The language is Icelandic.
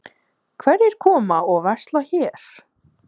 Kristján Már Unnarsson: Hverjir koma og versla hér?